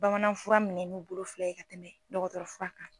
Bamanan fura minɛ n'u bolo fila ye ka tɛmɛ dɔgɔtɔrɔ fura kan.